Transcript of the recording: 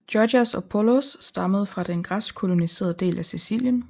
Gorgias og Polos stammede fra den græsk kolonialiserede del af Sicilien